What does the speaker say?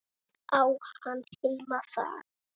Á hann heima þar?